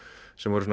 sem voru